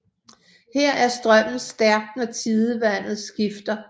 Her er strømmen stærk når tidevandet skifter